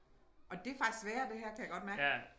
Og det faktisk sværere det her kan jeg godt mærke